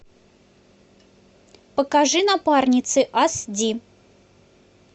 покажи напарницы ас ди